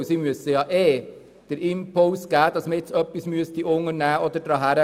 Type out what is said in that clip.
Sie müssen ja ohnehin den Impuls geben, dass man etwas unternehmen muss.